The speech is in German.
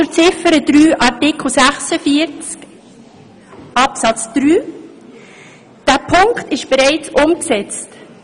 Zu Ziffer 3, Artikel 46 Absatz 3: Dieser Punkt ist bereits umgesetzt.